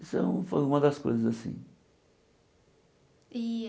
Isso é um foi uma das coisas assim.